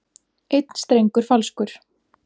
Einn strengur falskur.